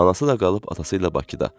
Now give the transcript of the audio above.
Anası da qalıb atası ilə Bakıda.